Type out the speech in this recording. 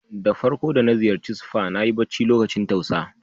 Da farko da na ziyace spa, na yi bacci lokacin tausa.